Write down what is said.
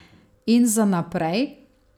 In za naprej?